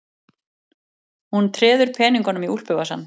Hann treður peningunum í úlpuvasann.